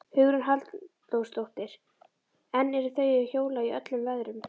Hugrún Halldórsdóttir: En eru þau að hjóla í öllum veðrum?